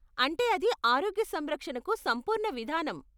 అంటే అది ఆరోగ్య సంరక్షణకు సంపూర్ణ విధానం.